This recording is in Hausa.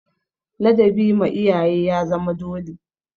Ladabi ma iyaye ya zama dole.